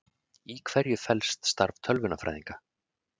Í hverju felst starf tölvunarfræðinga?